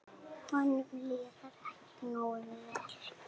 Honum líður ekki nógu vel.